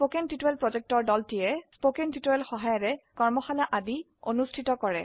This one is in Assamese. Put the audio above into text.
কথন শিক্ষণ প্ৰকল্পৰ দলটিয়ে কথন শিক্ষণ সহায়িকাৰে কৰ্মশালা আদি অনুষ্ঠিত কৰে